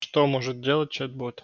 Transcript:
что может делать чет бот